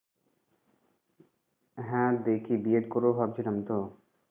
হ্যাঁ দেখি B. Ed করব ভাবছিলাম তো